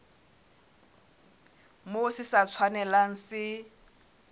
moo se sa tshwanelang se